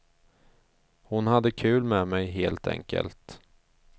Hon hade kul med mig, helt enkelt.